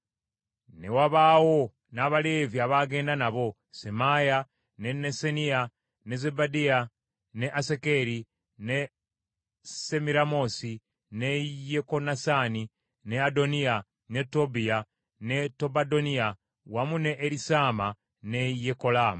Ne wabaawo n’Abaleevi abagenda nabo: Semaaya, ne Nesaniya, ne Zebadiya, ne Asakeri, ne Semiramoosi, ne Yekonasaani, ne Adoniya, ne Tobbiya, ne Tobadoniya, wamu ne Erisaama ne Yekolaamu.